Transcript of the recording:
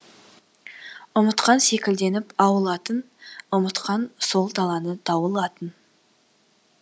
ұмытқан секілденіп ауыл атын ұмытқан сол даланы дауыл атын